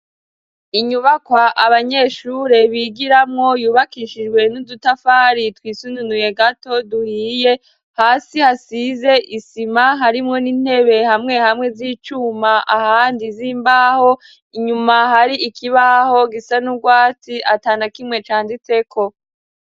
Inyubakwa abanyeshure bigiramwo yubakishijwe n'udutafari twisununuye gato duhiye, hasi hasize isima harimwo n'intebe hamwe hamwe z'icuma ahandi z'imbaho, inyuma hari ikibaho gisa n'ubwatsi atanakimwe canditseko.